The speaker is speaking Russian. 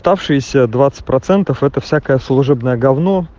оставшиеся двадцать процентов это всякое служебное гавно